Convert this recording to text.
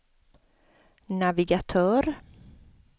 navigatör